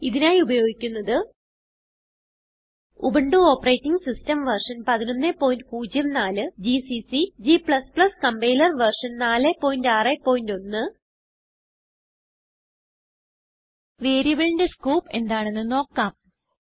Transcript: ഇതിനായി ഉപയോഗിക്കുന്നത് Ubuntu operating system version 1104 GCC g compiler version 461 വേരിയബിളിന്റെ സ്കോപ്പ് എന്താണെന്ന് നോക്കാം